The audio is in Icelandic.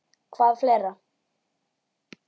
Hvað fleira?